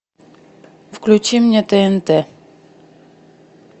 включи мне тнт